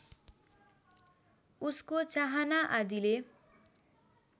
उसको चाहना आदिले